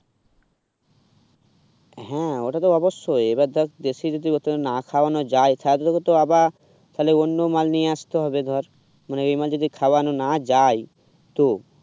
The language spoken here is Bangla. হ্যাঁ ওটা তো অবশ্যই এবার দেখ দেশি যদি না খাওয়ানো যায় তাহলে তো তোকে আবার ফলে অন্য মাল নিয়ে আসতে হবে ধর মানে এই মালটা যদি খাওয়ানো না যায় তো